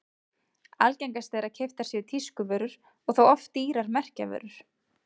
Algengast er að keyptar séu tískuvörur og þá oft dýrar merkjavörur.